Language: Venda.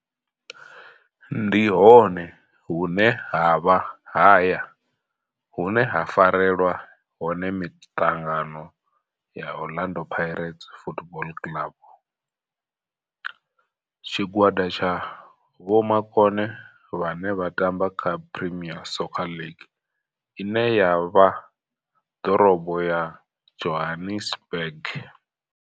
Ndi hone hune havha haya hune ha farelwa hone miṱangano ya Orlando Pirates Football Club. Tshigwada tsha vhomakone vhane vha tamba kha Premier Soccer League ine ya vha ḓorobo ya Johannesburg.